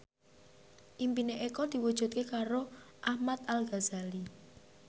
impine Eko diwujudke karo Ahmad Al Ghazali